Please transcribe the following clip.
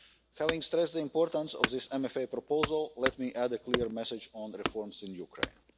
Having stressed the importance of this MFA proposal, let me add a clear message on the reforms in Ukraine.